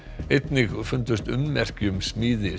einnig fundust ummerki um smíði